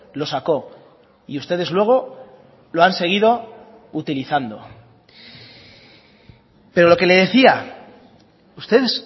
lo sacó y ustedes luego lo han seguido utilizando pero lo que le decía ustedes